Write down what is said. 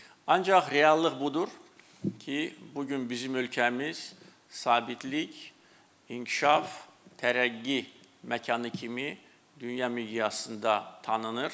Ancaq reallıq budur ki, bu gün bizim ölkəmiz sabitlik, inkişaf, tərəqqi məkanı kimi dünya miqyasında tanınır.